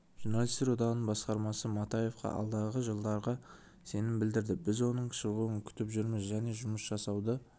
журналистер одағының басқармасы матаевқа алдағы жылдарға сенім білдірді біз оның шығуын күтіп жүрміз және жұмыс жасауды